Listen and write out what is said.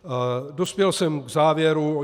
Dospěl jsem k závěru.